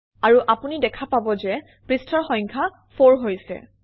আৰু আপুনি দেখা পাব যে পৃষ্ঠাৰ সংখ্যা 4 হৈছে